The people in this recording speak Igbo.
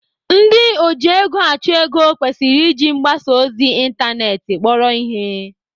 Ndị ojiegoachụego kwesịrị iji mgbasa ozi ịntanetị kpọrọ ihe.